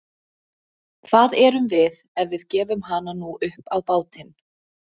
Hvað erum við ef við gefum hana nú upp á bátinn?